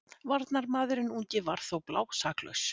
Varnarmaðurinn ungi var þó blásaklaus.